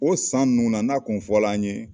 O san ninnu na n'a kun fɔla an ɲe